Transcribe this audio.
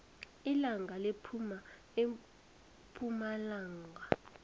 ilanga liphuma epumalanga